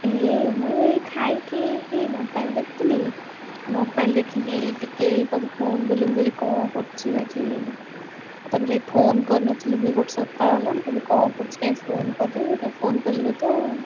ଏଇ ଇ ମୁଁ ଏଇ ଖାଇକି mobile ଦେଖୁଥିଲି mobile ଦେଖିକି ଟିକେ ତତେ phone କଲି ମୁ କହିଲି କଣ କରୁଛି ଆଜି ଆଉ ତାପରେ phone କରିନଥିଲି ବି ଗୋଟେ ସପ୍ତାହ ହେଲା ମୁ କହିଲି କଣ କରୁଛି କାଇଁ phone କରିନି ସେଇଥିପାଇଁ phone କଲି ତତେ ଆଉ।